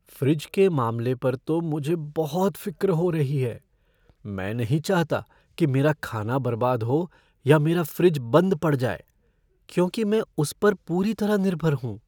Fridge के मामले पर तो मझे बहुत फ़िक्र हो रही है, मैं नहीं चाहता कि मेरा खाना बर्बाद हो या मेरा फ़्रिज बंद पढ़ जाए, क्योंकि मैं उस पर पूरी तरह निर्भर हूँ।